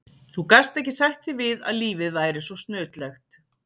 Þú gast ekki sætt þig við að lífið væri svo snautlegt.